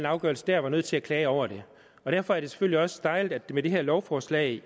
afgørelse der var nødt til at klage over det derfor er det selvfølgelig også dejligt at med det her lovforslag